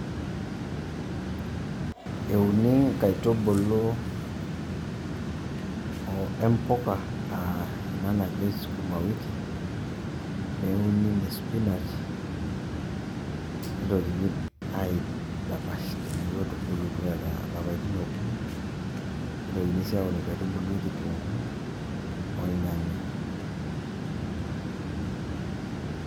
Euni nkaitubulu empuka, ah ena najei sukuma wiki, neuni ne spinach, nitokini aidapash teneeku etubulutua eeta lapaitin okuni, nitokini si aoru inkaitubulu kitunkuu, ornyanya.